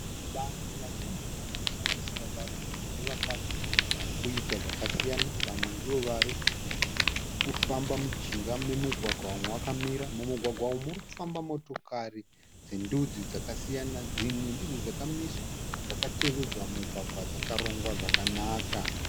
Vanhu vazhinji vanosanganisira varume nevakadzi varikuita zvakasiyana vamwe ndivo varikufamba mujinga memugwagwa vamwe vakamira. Mumugwagwa umu murikufamba motokari dzendudzi dzakasiyana. Dzimwe dzidzo dzakamiswa dzakatevedza mugwagwa dzakarongwa zvakanaka.